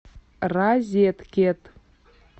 розеткед